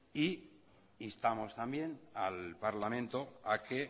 e instamos también al parlamento a que